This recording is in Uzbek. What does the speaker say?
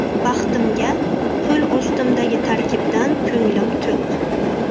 Baxtimga, qo‘l ostimdagi tarkibdan ko‘nglim to‘q.